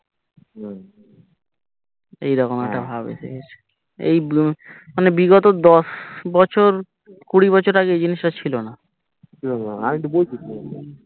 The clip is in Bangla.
এইরকম একটা ভাব এসে গেছে এই ব্লু মানে বিগত দশ বছর কুড়ি বছর আগে ইজিনিসটা ছিলোনা ছিলোনা আমি তো বলছি ছিলোনা